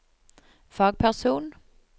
fagperson